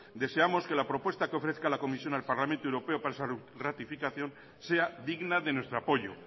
deseamos que la propuesta que ofrezca la comisión al parlamento europeo para esa ratificación sea digna de nuestro apoyo